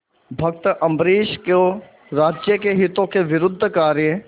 भक्त अम्बरीश को राज्य के हितों के विरुद्ध कार्य